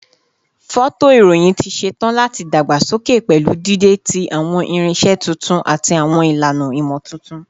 Fọtoirohin ti ṣetan lati dagbasoke pẹlu dide ti awọn irinṣẹ tuntun ati awọn ilana imotuntun